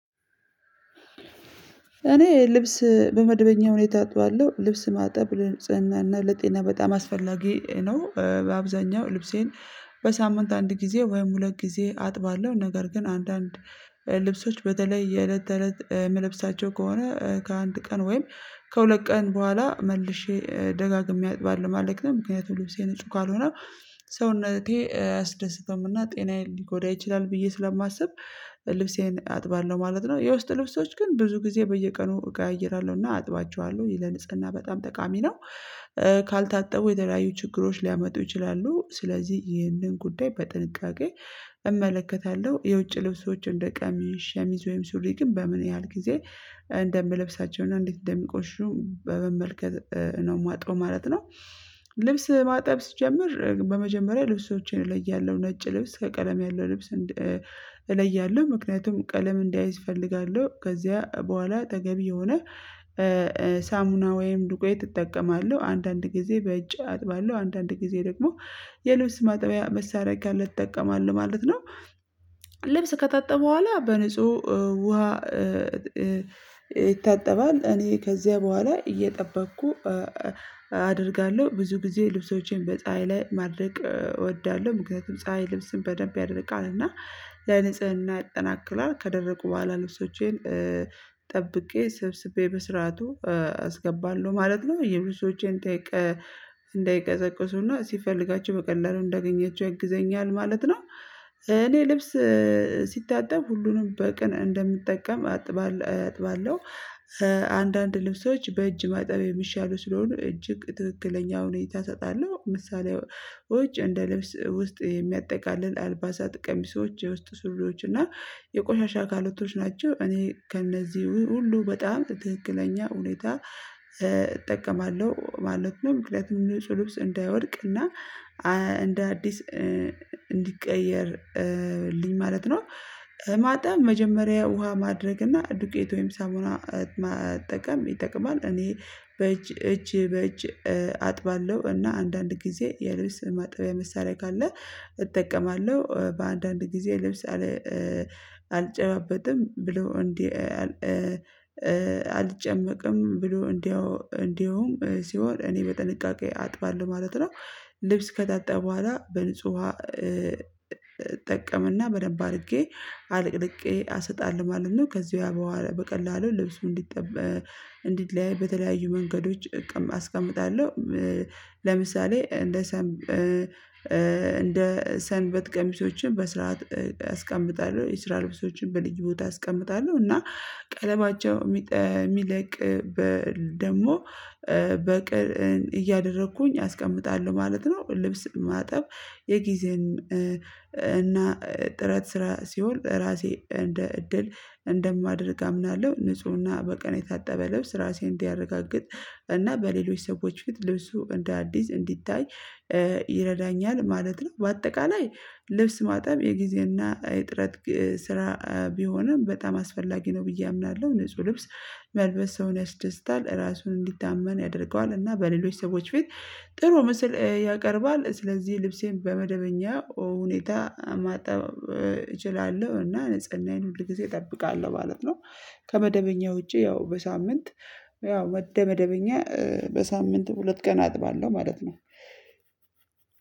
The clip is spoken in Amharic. እኔ ልብስ በመድበኛ ሁኔታ አጥባለሁ ልብስ ማጠብ ለንጽናና ለጤና በጣም አስፈላጊ ነው። አብዛኛው ልብሴን በሳምንት አንድ ጊዜ ወይም ሁለት ጊዜ አጥባለሁ። ነገር ግን አንዳንድ ልብሶች በተለይ የእለት ተእለት የምለብሳቸው ከሆነ ከአንድ ቀን ወይም ከሁለት ቀን በኋላ መልሼ ደጋግሜ አጥባለሁ ማለት ነው። ምክንያቱም ልብሴ ንጹህ ካልሆነ ሰውነቴን አያስደስተውምና ጤናዬን ሊጎዳ ይችላል ብዬ ስለማስብ ልብሴን አጥባለሁ ማለት ነው። የውስጥ ልብሶች ግን ብዙ ጊዜ በየቀኑ እቀያይራለሁና አጥባቸዋለሁ ለንጽቅና በጣም ጠቃሚ ነው። ካልታጠቡ የተለያዩ ችግሮች ሊያመጡ ይችላሉ ስለዚህ ይህንን ጉዳይ በጥንቃቄ እመለከታለሁ። የውጭ ልብሶችን እንደ ቀሚስ ሸሚዝ ወይም ሱሪ ግን በምን ያህል ጊዜ እንደምለብሳቸው እንዴት እንደሚቆሽሹ በመመልከት ነው ማጥበው ማለት ነው። ልብስ ማጥብ ስጀምር በመጀመሪያ ልብሶቼን እለያለሁ ነጭ ልብስ ከቀለም ያለው ልብስ እለያለሁ። ምክንያቱም ቀለም እንዳይዝ እፈልጋለሁ ከዚያ በኋላ አጠገቢ የሆነ ሳሙና ወይም ዱቄት እጠቀማለሁ አንዳንድ ጊዜ በእጅ አጥባለሁ አንዳንድ ጊዜ ደግሞ የልብስ ማጠቢያ መሳሪያ ካለ እጠቀማለሁ ማለት ነው። ልብስ ከታጠበ በኋላ በንጹህ ውሃ ይታጠባል። እኔ ከዚያ በኋላ እየጠበቅኩ አደርጋለሁ ብዙ ጊዜ ልብሶቼን በፀሀይ ላይ ማድረቅ እወዳለሁ። ምክንያቱም ፀሀይ ልብስን በደንብ ያደርቃል እና ለንፅህና ያጠናክራል ከደረቁ በኋላ ልብሶቼን ጠብቄ ስብስቤ በስርዓቱ አስገባለሁ ማለት ነው። የብዙ ሰውችን ጠይቄ እንዳይቀዘቅዙና ስፈልጋቸው በቀላሉ እንዳገኛቸው ያግዘኛል ማለት ነው። እኔ ልብስ ሁሉንም በቅን እንደምጠቀም አጥባለሁ። አንዳንድ ልብሶች በእጅ ማጠብ የሚሻሉ ስለሆኑ እጅግ ትክክለኛውን ይታሰጣሉ ምሳሌዎች እንደ ልብስ ውስጥ የሚያጠቃልል አልባሳ ጥቅም ሰዎች የውስጥ ስሎች እና የቆሻሻ አካላቶች ናቸው። እኔ ከእነዚህ ሁሉ በጣም ትክክለኛ ሁኔታ እጠቀማለሁ ማለት ነው። ምክንያቱም ንጹህ ልብስ እንዳይወድቅና እንደ አዲስ እንዲቀየርልኝ ማለት ነው። ማጠብ መጀመሪያ ውሃ ማድረግ እና ዱቄት ወይም ሳሙና መጠቀም ይጠቅማል እኔ በእጅ እጅ በእጅ አጥባለሁ እና አንዳንድ ጊዜ የልብስ ማጠቢያ መሳሪያ ካለ እጠቀማለሁ። በአንዳንድ ጊዜ ልብስ አልጨባበጥም ብሎ እንዲህ አልጨመቅም ብሎ እንደው እንደውም ሲሆን እኔ በጥንቃቄ አጥባለሁ ማለት ነው። ልብስ ከታጠበ በኋላ በንጹህ ውሃ እጠቀመና በደንብ አድርጌ አለቅልቄ አሰጣልሁ ማለት ነው። ከዚያ በቀላሉ ልብሱ እንዲጠበ እንዲለያይ በተለያዩ መንገዶች አስቀምጣለሁ። ለምሳሌ እንደ እንደ ሰንበት ቀሚሶችን በስርዓት አስቀምጣለሁ የስራ ልብሶችን በልዩ ቦታ አስቀምጣለሁ እና ቀለማቸው ቀለባቸው የሚለቅ ደግሞ በቅር እያደረኩኝ አስቀምጣለሁ ማለት ነው። ልብስ ማጠብ የጊዜም እና ጥረት ስራ ሲሆን ራሴ እንደ እድል እንደማደርግ አምናለሁ። ንፁህና በቀን የታጠበ ልብስ ራሴን እንዲያረጋግጥ እና በሌሎች ሰዎች ፊት ልብሱ እንደ አዲስ እንዲታይ ይረዳኛል ማለት ነው። በአጠቃላይ ልብስ ማጠብ የጊዜና የጥረት ስራ ቢሆንም በጣም አስፈላጊ ነው። ብዬ አምናለሁ ንጹህ ልብስ መልበስ ሰውን ያስደስታል ራሱን እንዲታመን ያደርገዋል እና በሌሎች ሰዎች ፊት ጥሩ ምስል ያቀርባል። ስለዚህ ልብሴን በመደበኛ ሁኔታ ማጠብ እችላለሁ እና ንጽህናዬን ሁል ጊዜ እጠብቃለሁ ማለት ነው። ከመደበኛ ውጪ ያው በሳምንት ያው ወደ መደበኛ በሳምንት ሁለት ቀን አጥባለሁ ማለት ነው።